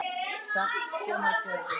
Sem hann gerði.